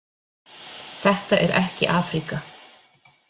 Þetta er ekki Afríka.